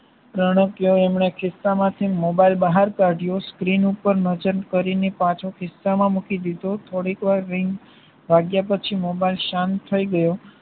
રણકયો એમને ખિસ્સા માંથી મોબાઈલ બહાર કાઢ્યો સ્ક્રીન ઉપર નજર કરીને પાછો ખિસ્સા માં મૂકી દીધો થોડીક વાર રિંગ વાગ્યા પછી મોબાઈલ શાંત થાય ગયો